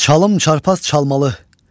Çalım çarpaz çalmalı.